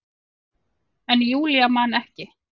En Júlía man ekki.